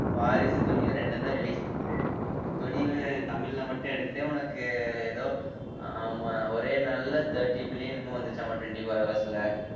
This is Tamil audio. வாரிசு, துணிவு இரண்டும்தான் release துணிவு தமிழ்ல மட்டும் எடுத்தே உனக்கு எதோ உம் அஹ் ஒரே நாள்ல thirty billion என்னமோ வந்துச்சாம்மா twenty-four hours ல